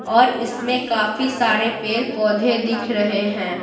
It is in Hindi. और इसमें काफी सारे पेड़ पौधे दिख रहे हैं।